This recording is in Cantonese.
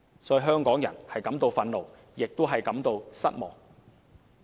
所以，香港人感到憤怒，亦感到失望。